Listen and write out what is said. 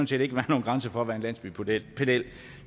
set ikke være nogen grænser for hvad en landsbypedel